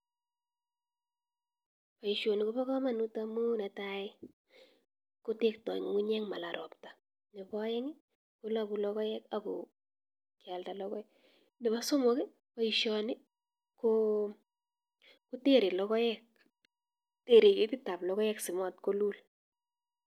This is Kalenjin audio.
Boisioni ko pa kamanut amu netai kotekta ng'ung'unyek mala ropta nebo aeng kolaku lokoek ako kealda lokoek, nebo somok boisioni kotere lokoek tere ketit ap lokoek si mat kolul.